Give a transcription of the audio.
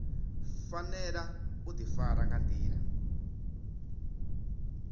fanela u difara nga ndila